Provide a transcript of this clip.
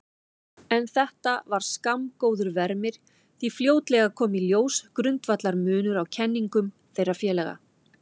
En þetta var skammgóður vermir því fljótlega kom í ljós grundvallarmunur á kenningum þeirra félaga.